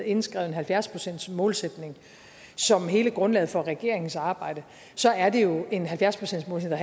indskrevet en halvfjerds procentsmålsætning som hele grundlaget for regeringens arbejde så er det jo en halvfjerds procentsmålsætning